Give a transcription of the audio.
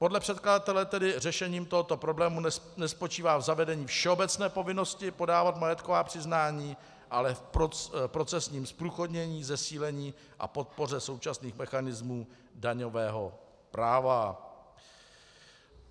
Podle předkladatele tedy řešením tohoto problému nespočívá v zavedení všeobecné povinnosti podávat majetková přiznání, ale v procesním zprůchodnění, zesílení a podpoře současných mechanismů daňového práva.